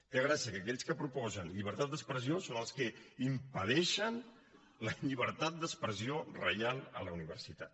té gràcia que aquells que proposen llibertat d’expressió siguin els que impedeixen la llibertat d’expressió real a la universitat